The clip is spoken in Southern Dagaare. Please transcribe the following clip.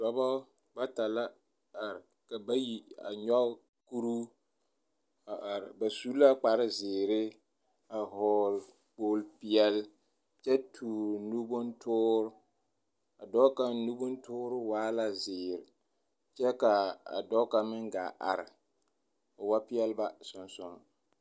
Dͻbͻ bata la are, ka bayi a nyͻge kuruu a are. Ba su la kpare zeere, a vͻgele kpooli peԑle kyԑ toore nu bontoore. A dͻͻ kaŋ nu bontoore waa la zeere kyԑ ka a dͻͻ kaŋ meŋ gaa are, o wa peԑle ba sonsoŋ.